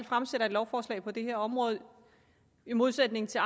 fremsætter lovforslag på det her område i modsætning til